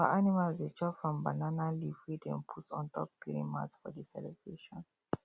our animals dey chop from banana leave wey them put on top clean mats for the celebration